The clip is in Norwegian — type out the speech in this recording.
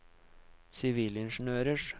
sivilingeniørers